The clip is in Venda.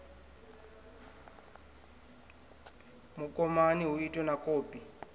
mukomani hu itwe na kopi